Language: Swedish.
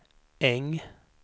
Äng